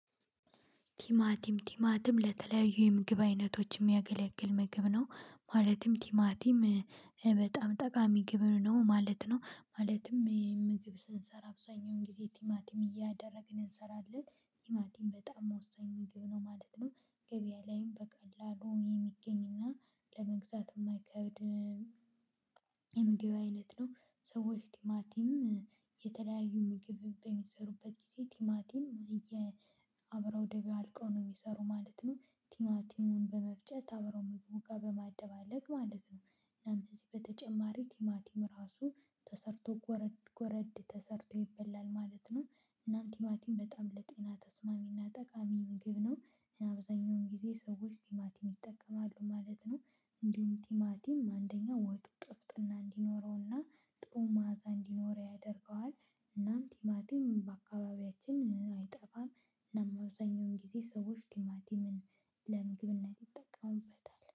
ቲማቲም ቲማቲም ለተለያዩ የምግብ አይነቶች የሚያገለግል ምግብ ነው ማለትም ቲማቲም በጣም ጠቃሚ ግብ ነው ማለት ነው ማለትም ምግብ ስንሰራ አብዛኛውን ጊዜ ቲማቲም እያደረግን እንሰራለን ቲማቲም በጣም ወሳኝ ምግብ ነው ማለት ነው ገበያ ላይም በቀላሉ የሚገኝና ለመግዛት የማይከብድ የምግብ አይነት ነው ሰዎች ቲማቲም የተለያዩ ምግብ በሚሰሩበት ጊዜ ቲማቲም አየ አብረው ደባልቀው ነው ሚሰራው ማለት ነው። ቲማቲሙን በመፍጨት አብረው መግቢያ በማደባለቅ ማለት ነው። እናም ከዚህ በተጨማሪ ቲማቲም ራሱ ተሰርቶ ጎረድ ጎረድ ተሰርቶ ይበላል ማለት ነው። እናም ቲማቲም በጣም ለጤና ተስማሚና ጠቃሚ ምግብ ነው። አብዛኛውን ጊዜ ሰዎች ቲማቲም ይጠቀማሉ ማለት ነው። እንዲሁም ቲማቲም አንደኛ ወጥ ጥፍጥና እንዲኖረውና ጥሩ ማዓዛ እንዲኖረው ያደርገዋል። እናም ቲማቲም በአካባቢያችን አይጠፋም እናም አብዛኛውን ጊዜ ሰዎች ቲማቲምን ለምግብነት ይጠቀሙበታል።